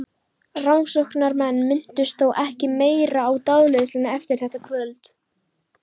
Rannsóknarmenn minntust þó ekki meira á dáleiðsluna eftir þetta kvöld.